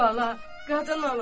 Bala, qadan alım.